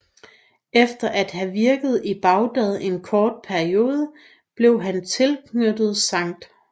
Efter at have virket i Bagdad en kort periode blev han tilknyttet St